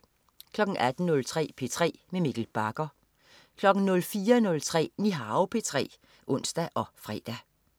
18.03 P3 med Mikkel Bagger 04.03 Nihao P3 (ons og fre)